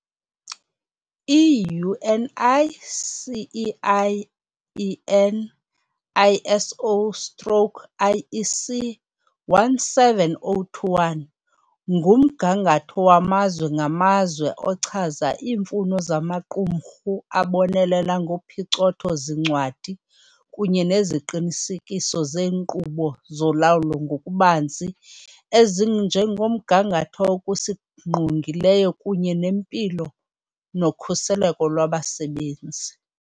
I-UNI CEI EN ISO stroke IEC 17021 ngumgangatho wamazwe ngamazwe ochaza iimfuno zamaqumrhu abonelela ngophicotho-zincwadi kunye nesiqinisekiso seenkqubo zolawulo ngokubanzi ezinjengomgangatho, okusingqongileyo kunye nempilo nokhuseleko lwabasebenzi.